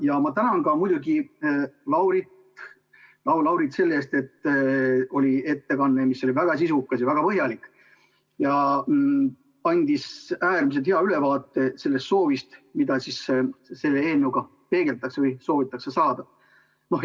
Ja ma tänan muidugi ka Laurit selle eest, et ettekanne oli väga sisukas ja väga põhjalik ja andis äärmiselt hea ülevaate sellest, mida selle eelnõuga peegeldatakse või soovitakse saada.